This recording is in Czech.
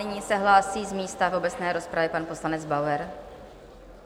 Nyní se hlásí z místa v obecné rozpravě pan poslanec Bauer.